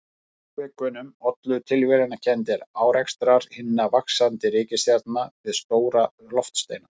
Frávikunum ollu tilviljanakenndir árekstrar hinna vaxandi reikistjarna við stóra loftsteina.